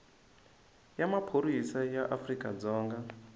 ya maphorisa ya afrika dzonga